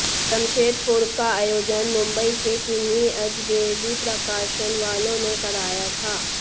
जमशेदपुर का आयोजन मुंबई के किन्हीं अजगैवी प्रकाशन वालों ने कराया था